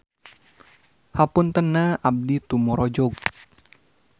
Hapuntenna abdi tumorojog.